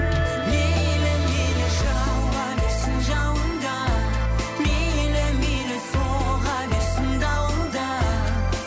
мейлі мейлі жауа берсін жауын да мейлі мейлі соға берсін дауыл да